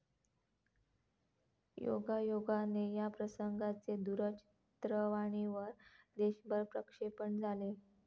योगायोगाने या प्रसंगाचे दूरचित्रवाणीवर देशभर प्रक्षेपण झाले.